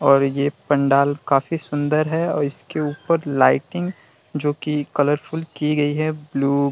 और ये पंडाल काफी सुंदर है और इसके ऊपर लाइटिंग जो की कलरफुल की गई है । ब्लू --